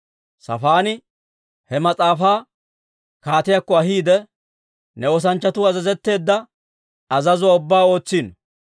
Saafaani he mas'aafaa kaatiyaakko ahiide, «Ne oosanchchatuu azazetteedda azazuwaa ubbaa ootsino.